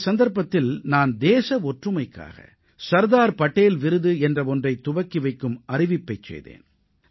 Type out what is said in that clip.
இந்த சந்தர்ப்பத்தில் நான் தேச ஒற்றுமைக்காக சர்தார் படேல் விருது என்ற ஒன்றைத் துவக்கி வைக்கும் அறிவிப்பைச் செய்தேன்